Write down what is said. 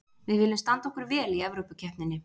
Við viljum standa okkur vel í Evrópukeppninni.